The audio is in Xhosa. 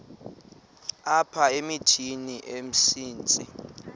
apha emithini umsintsi